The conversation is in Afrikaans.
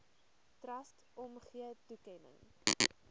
trust omgee toekenning